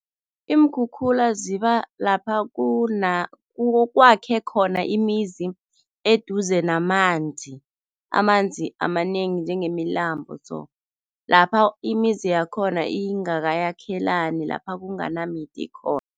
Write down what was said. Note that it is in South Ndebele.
Iinkhukhula ziba lapha kwakhe khona imizi eduze namanzi, amanzi amanengi njengemilambo so. Lapha imizi yakhona ingakayakhelani, lapha kunganamithi khona.